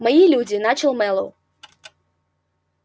мои люди начал мэллоу